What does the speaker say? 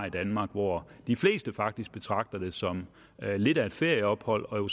i danmark hvor de fleste faktisk betragter det som lidt af et ferieophold og hvor